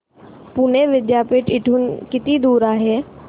पुणे विद्यापीठ इथून किती दूर आहे